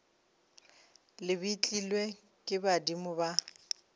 le betlilwe ke badimo ba